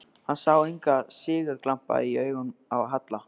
Hann sá engan sigurglampa í augunum á Halla.